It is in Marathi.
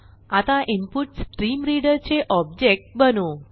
आता इन्पुटस्ट्रीमरीडर चे ऑब्जेक्ट बनवू